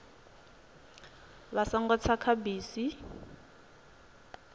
vha songo tsa kha bisi